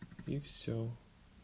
и всё